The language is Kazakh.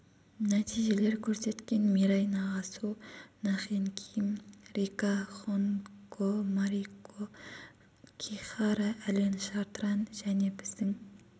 нәтижелер көрсеткен мираи нагасу на хен ким рика хонго марико кихара ален шартран және біздің